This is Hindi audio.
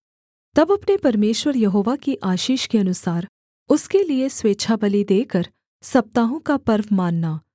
तब अपने परमेश्वर यहोवा की आशीष के अनुसार उसके लिये स्वेच्छाबलि देकर सप्ताहों का पर्व मानना